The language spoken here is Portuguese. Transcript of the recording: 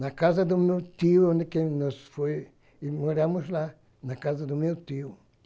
na casa do meu tio, onde que nós foi e moramos lá, na casa do meu tio.